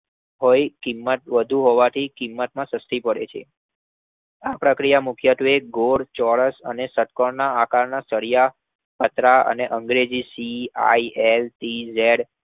હોઈ કિંમતમાં સસ્તી પડે છે. આ પ્રક્રિયા વડે મુખ્યત્વે ગોળ, ચોરસ અને ષટ્કોણ આકારના સિળયા, પતરાં અને અંગ્રેજી CILTZ